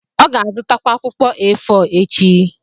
ọ ga-azụtakwu akwụkwọ A4 echi.